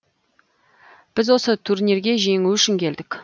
біз осы турнирге жеңу үшін келдік